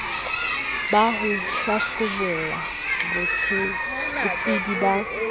ba ho hlabolla botsebi ba